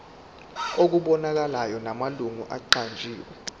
okubonakalayo namalungu aqanjiwe